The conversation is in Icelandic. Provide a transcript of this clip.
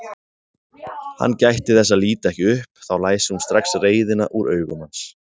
Hann gætti þess að líta ekki upp, þá læsi hún strax reiðina úr augum hans.